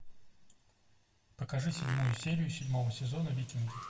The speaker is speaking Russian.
покажи седьмую серию седьмого сезона викинги